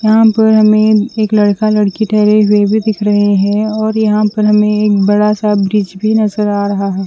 यहां पर हमें एक लड़का लड़की ठहरे हुए भी दिख रहे हैं और यहां पर हमें एक बड़ा सा ब्रिज भी नजर आ रहा है।